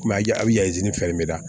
a bɛ mira